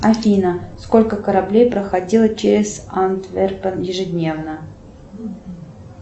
афина сколько кораблей проходило через антверпен ежедневно